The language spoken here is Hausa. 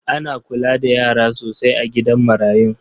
Ana kula da yara sosai a gidan marayun.